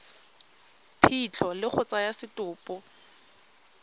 phitlho le go tsaya setopo